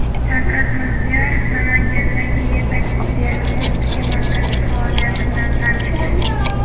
Shavkat Mirziyoyev Namangandagi yetakchi diagnostika markazi faoliyati bilan tanishdi.